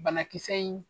Banakisɛ in